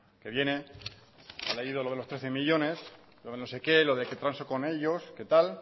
que viene ha leído lo de los trece millónes lo de no sé qué lo de qué pasa con ellos que tal